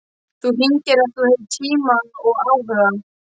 Þú hringir ef þú hefur tíma og áhuga.